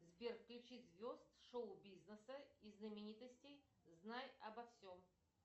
сбер включи звезд шоу бизнеса и знаменитостей знай обо всем